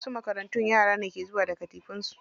Wasu makarantun yara ne ke zuwa da katifofin su.